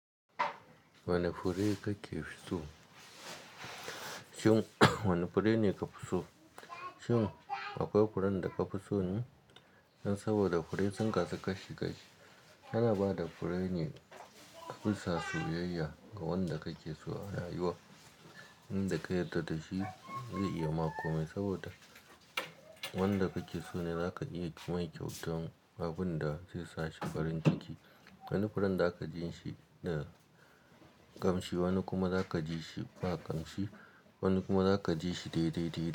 Wane fure ne ka fi so? Shin wane fure ne ka fi so? Shin akwai furen da ka fi so ne? Saboda fure sun kasu kashi-kashi. Ana bada fure ne bisa soyayya ga wanda kake so a rayuwa. Inda ka yarda da shi zai iya ma komai saboda wanda kake so ne zaka iya yi mai kyautan abun da zai sashi farin ciki. Wani furen zaka ji shi da ƙamshi, wani kuma zaka ji shi ba ƙamshi, wani kuma zaka ji shi daidai-daidai.